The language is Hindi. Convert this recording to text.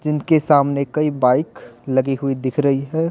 जिनके सामने कई बाइक लगी हुई दिख रही है।